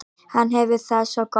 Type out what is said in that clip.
Hann hefur það svo gott.